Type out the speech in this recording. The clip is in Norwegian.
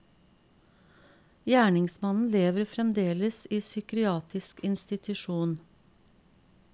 Gjerningsmannen lever fremdeles i psykiatrisk institusjon.